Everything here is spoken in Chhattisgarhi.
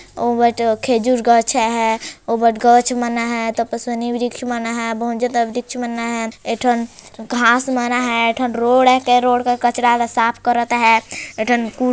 ओ बट खेजुर गछ है ओमन गछ मन अ है तपस्वनी वृक्ष मन अ है बहुत ज्यादा वृक्ष मन है ए ठोन घास मन अ है एक ठन रोड अ है रोड के कचरा साफ करत है एक ठन कूड़ा --